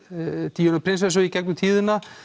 Díönu prinsessu í gegnum tíðina